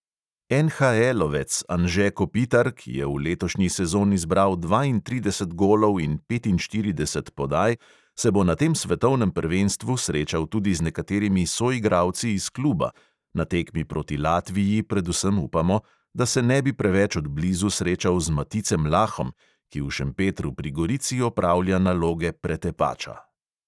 NHL-ovec anže kopitar, ki je v letošnji sezoni zbral dvaintrideset golov in petinštirideset podaj, se bo na tem svetovnem prvenstvu srečal tudi z nekaterimi soigralci iz kluba, na tekmi proti latviji predvsem upamo, da se ne bi preveč od blizu srečal z maticem lahom, ki v šempetru pri gorici opravlja naloge pretepača.